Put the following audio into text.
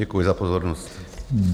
Děkuji za pozornost.